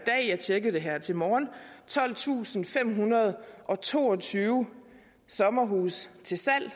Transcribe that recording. tjekkede det her til morgen tolvtusinde og femhundrede og toogtyve sommerhuse til salg